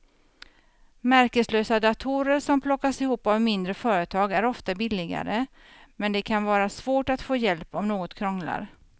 Märkeslösa datorer som plockas ihop av mindre företag är ofta billigare men det kan vara svårt att få hjälp om något krånglar.